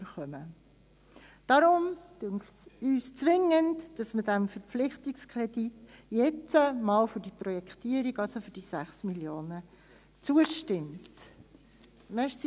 Deswegen finden wir es zwingend, dass dem Verpflichtungskredit nun für die Projektierung, also für die 6 Mio. Franken, zugestimmt wird.